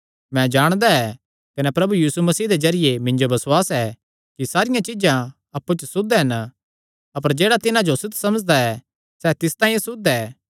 मैं जाणदा ऐ कने प्रभु यीशु मसीह दे जरिये मिन्जो बसुआस ऐ कि सारियां चीज्जां अप्पु च सुद्ध हन अपर जेह्ड़ा तिन्हां जो असुद्ध समझदा ऐ सैह़ तिस तांई असुद्ध ऐ